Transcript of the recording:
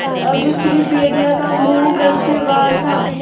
अब स़िर्फ भेड़िए का मुँह घर से बाहर था